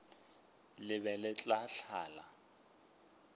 le be le tla tlala